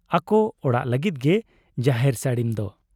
ᱟᱠᱚ ᱚᱲᱟᱜ ᱞᱟᱹᱜᱤᱫ ᱜᱮ ᱡᱟᱦᱮᱨ ᱥᱟᱹᱲᱤᱢ ᱫᱚ ᱾